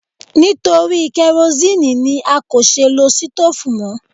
Nítorí kerosinni ni a kò ṣe lo stoofu mọ.